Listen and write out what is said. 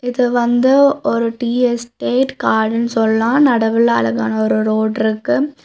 இது வந்து ஒரு டீ எஸ்டேட் காடுனு சொல்லா நடவுல அழகான ஒரு ரோடு இருக்கு.